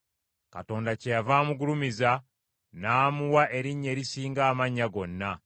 Katonda kyeyava amugulumiza, n’amuwa erinnya erisinga amannya gonna;